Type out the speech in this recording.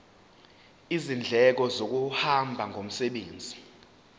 izindleko zokuhamba ngomsebenzi